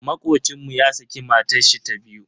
Makocin mu ya saki matashi ta biyu.